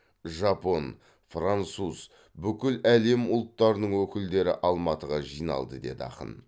жапон француз бүкіл әлем ұлттарының өкілдері алматыға жиналды деді ақын